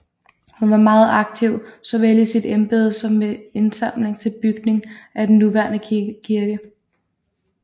Hun var meget aktiv såvel i sit embede som med indsamling til bygning af den nuværende kirke